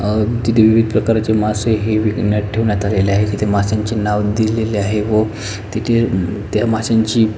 अ तिथे विविध प्रकाराचे मासे हे विकण्यात ठेवण्यात आले आहेत तेथे मास्यांचे नाव दिलेले आहे व तेथे द त्या मास्यांची--